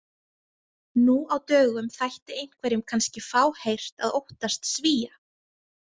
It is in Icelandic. Nú á dögum þætti einhverjum kannski fáheyrt að óttast Svía.